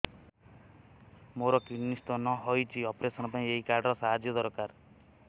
ମୋର kidney stone ହଇଛି operation ପାଇଁ ଏହି କାର୍ଡ ର ସାହାଯ୍ୟ ଦରକାର